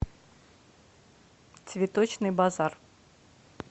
цветочный базар